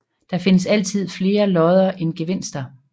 Det findes altid flere lodder end gevinster